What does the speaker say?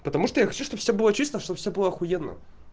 потому что я хочу чтобы всё было чисто чтобы всё было охуенно